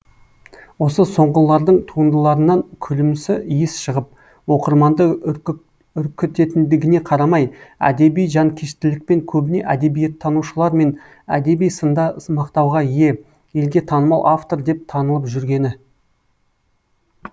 осы соңғылардың туындыларынан күлімсі иіс шығып оқырманды үркітетіндігіне қарамай әдеби жанкештілікпен көбіне әдебиеттанушылар мен әдеби сында мақтауға ие елге танымал автор деп танылып жүргені